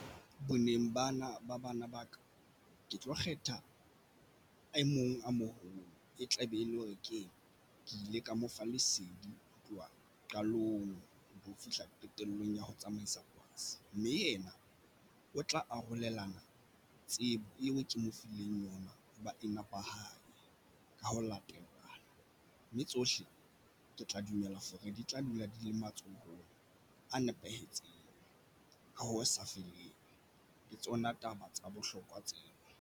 Boneng bana ba bana ba ka ke tlo kgetha e mong a moholo e tla be e lo re kena, ke ile ka mo fa lesedi ho tloha qalong ho fihla qetellong ya ho tsamaisa cause mme ena o tla arolelana tsebo eo ke mo fileng ona o ba e nepahala ka ho latela mme tsohle ke tla dumella for re di tla dula di le matsohong a nepahetseng ka ho sa feleng le tsona taba tsa bohlokwa tseo.